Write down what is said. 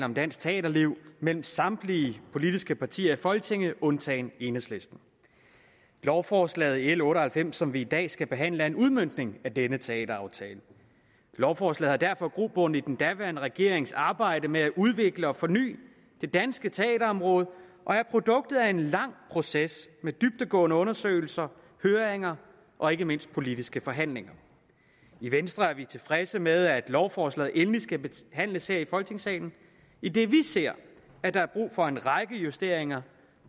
om dansk teaterliv mellem samtlige politiske partier i folketinget undtagen enhedslisten lovforslag nummer l otte og halvfems som vi i dag skal behandle er en udmøntning af denne teateraftale lovforslaget har derfor grobund i den daværende regerings arbejde med at udvikle og forny det danske teaterområde og er produktet af en lang proces med dybdegående undersøgelser høringer og ikke mindst politiske forhandlinger i venstre er vi tilfredse med at lovforslaget endelig skal behandles her i folketingssalen idet vi ser at der er brug for en række justeringer